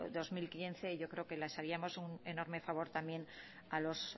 dos mil quince yo creo que les haríamos un enorme favor también a los